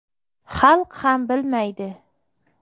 Xalq ham bilmaydi”.